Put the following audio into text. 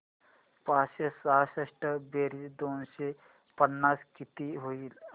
पाचशे सहासष्ट बेरीज दोनशे पन्नास किती होईल